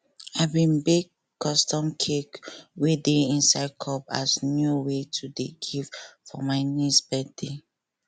i bin bake custom cake wey dey inside cup as new way to dey give for my niece birthday